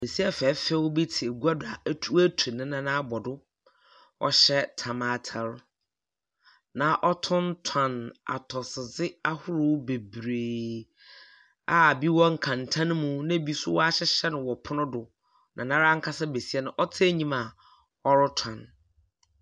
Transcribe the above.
Besia fɛɛfɛ bi te adwa do a watu ne nan abɔ do. Ɔhyɛ tam ataadeɛ na wɔtontɔn atosode ahorow bebree a ɛbi wɔ nkenten mu na ɛbi nso wahyehyɛ no wɔ ɛpono do na noara besia no ankasa ɔte anim a ɔretɔn.